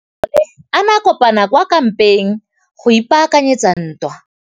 Masole a ne a kopane kwa kampeng go ipaakanyetsa ntwa.